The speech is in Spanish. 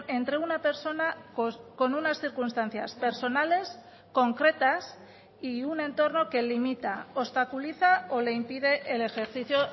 entre una persona con unas circunstancias personales concretas y un entorno que limita obstaculiza o le impide el ejercicio